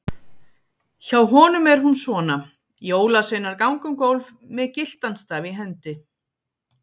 Hjá honum er hún svona: Jólasveinar ganga um gólf með gyltan staf í hendi.